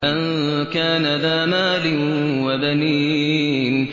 أَن كَانَ ذَا مَالٍ وَبَنِينَ